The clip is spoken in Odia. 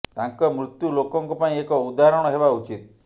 ତାଙ୍କ ମୃତ୍ୟୁ ଲୋକଙ୍କ ପାଇଁ ଏକ ଉଦାହରଣ ହେବା ଉଚିତ